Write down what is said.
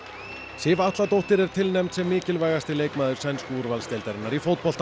Sif Atladóttir er tilnefnd sem mikilvægasti leikmaður sænsku úrvalsdeildarinnar í fótbolta